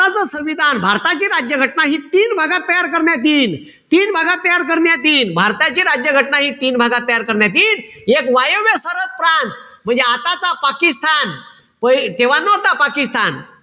भारताचं संविधान, भारताची राज्य घटना हि तीन भागात तयार करण्यात येईल. तीन भागात तयार करण्यात येईल. भारताची राज्य घटना हि तीन भागात तयार करण्यात यील. एक वायव्य सरहद प्रांत, म्हणजे आताचा पाकिस्तान. तेव्हा नव्हता पाकिस्तान.